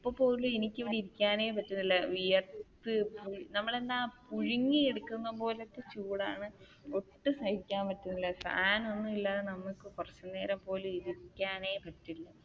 ഇപ്പൊ പോലും എനിക്ക് നിക്കാനേ പറ്റുന്നില്ല വിയർത്തു നമ്മളെന്താ പുഴുങ്ങി എടുക്കുന്ന പോലത്തെ ചൂടാണ്, ഒട്ടും സഹിക്കാൻ പറ്റുന്നില്ല ഫാൻ ഒന്നുമില്ലാതെ നമ്മൾക്ക് കുറച്ചു നേരം പോലും ഇരിക്കാനേ പറ്റില്ല.